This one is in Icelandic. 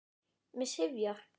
Mig syfjar.